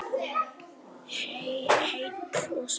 Heill og sæll.